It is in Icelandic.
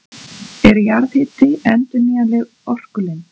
Er jarðhiti endurnýjanleg orkulind?